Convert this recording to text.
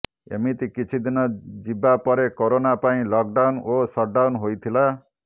ଏମିତି କିଛି ଦିନ ଯିବା ପରେ କରୋନା ପାଇଁ ଲକଡାଉନ ଓ ସଟଡାଉନ ହୋଇଥିଲା